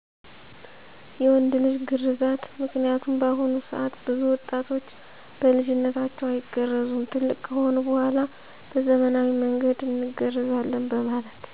የወንድ ልጅ ግርዛት ምክንያቱም በአሁኑ ሰዐት ብዙ ወጣቶች በልጅነታቸው አይገረዙም ትልቅ ከሆኑ በኋላ በዘመናዊ መንገድ እንገረዛለን በማለት።